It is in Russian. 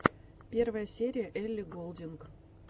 первая серия элли голдинг